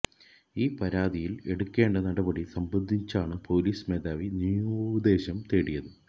ഈ പരാതിയിൽ എടുക്കേണ്ട നടപടി സംബന്ധിച്ചാണു പൊലീസ് മേധാവി നിയമോപദേശം തേടിയത്